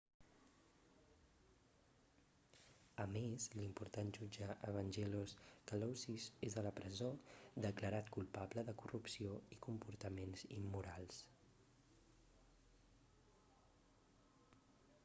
a més l'important jutge evangelos kalousis és a la presó declarat culpable de corrupció i comportaments immorals